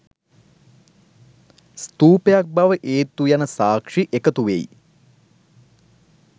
ස්තූපයක් බව ඒත්තු යන සාක්‍ෂි එකතු වෙයි.